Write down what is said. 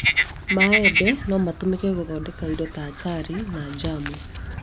Maembe no mahũthĩke gũthondeka indo ta acari na njamu